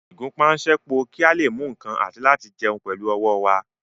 Ìgúnpá ń ṣẹ́po kí a lè mú nǹkan àti láti jẹun pẹ̀lú ọwọ́ wa